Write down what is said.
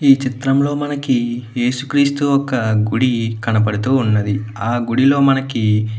ఈ చిత్రం లో మనకి యేసుక్రీస్తు ఒక గుడి కనపడుతూ వున్నది ఆ గుడి లో మనకి --